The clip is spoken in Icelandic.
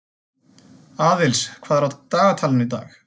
Aðils, hvað er á dagatalinu í dag?